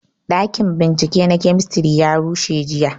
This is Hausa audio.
Ɗakin bincike na kemistri ya rushe jiya